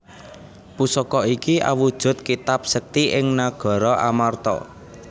Pusaka iki awujud kitab sekti ing nagara Amarta